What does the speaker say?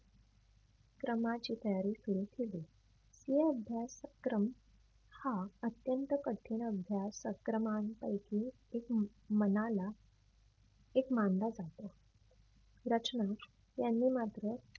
क्रमाची तयारी सुरु केली. तो अभ्यासक्रम हा अत्यंत कठीण अभ्यास क्रमानं पैकी एक मनाला एक मानला जातो. रचना यांनी मात्र